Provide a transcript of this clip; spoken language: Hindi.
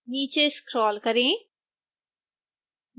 नीचे scroll करें